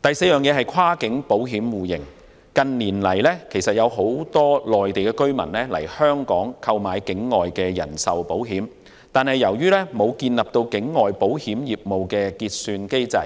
第四，在跨境保險互認方面，很多內地居民近年到香港購買境外人壽保險，然而，由於缺乏境外保險業務結算機制，